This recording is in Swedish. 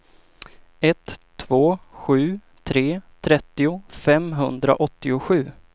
ett två sju tre trettio femhundraåttiosju